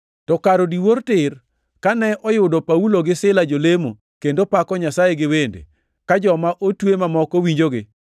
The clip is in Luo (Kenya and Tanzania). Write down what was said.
To kar odiwuor tir, kane oyudo Paulo gi Sila jolemo kendo pako Nyasaye gi wende, ka joma otwe mamoko winjogi,